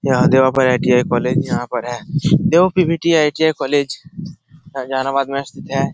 यहाँ देवा पर ITI. College यहाँ पर है देवा पी.वी.टी. आई.टी.आई. कॉलेज में स्थित है।